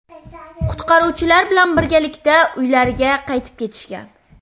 qutqaruvchilar bilan birgalikda uylariga qaytib ketishgan.